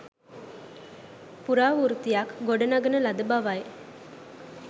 ප්‍රරාවෘත්තයක් ගොඩනඟන ලද බවයි